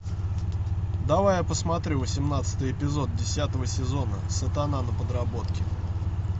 давай я посмотрю восемнадцатый эпизод десятого сезона сатана на подработке